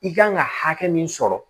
I kan ka hakɛ min sɔrɔ